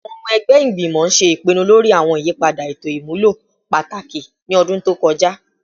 Awọn ọmọ ẹgbẹ igbimọ ṣe ipinnu lori awọn iyipada eto imulo pataki ni ọdun to kọja